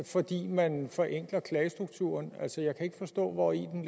fordi man forenkler klagestrukturen altså jeg kan ikke forstå hvori den